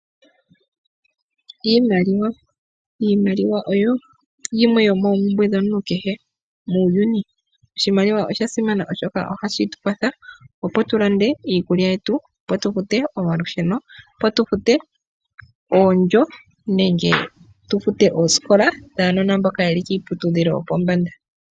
Iimaliwa, iimaliwa oyo yimwe yomoompumbwe dhomuntu kehe muuyuni. Oshimaliwa oshasimana oshoka ohashi tukwatha opo tulande iikulya yetu, opo tulande omalusheno, opo tufute oondjo nenge tufute oosikola dhaanona mboka yeli kiiputudhilo yopombanda.